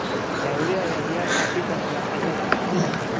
Daawadee ayaa diyaar u ah Peters plus ciladha?